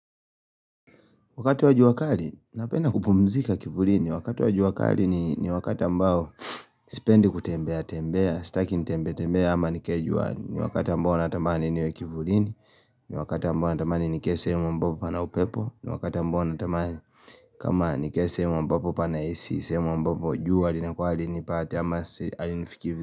Wakati wa juakali, napenda kupumzika kivulini, wakati wa juakali ni wakati ambao sipendi kutembea, tembea, staki nitembee, tembee ama nikae juani ni wakati ambao natamani niwe kivulini ni wakati ambao natamani nikae sehemu ambapo pana upepo ni wakati ambapo natambani kama nikae sehemu ambapo pana AC sehemu ambapo jua li nakuw halinipati ama halinifikii vu.